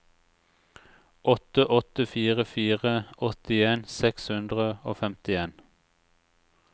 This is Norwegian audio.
åtte åtte fire fire åttien seks hundre og femtien